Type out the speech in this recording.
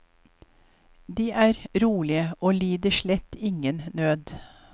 De er rolige og lider slett ingen nød.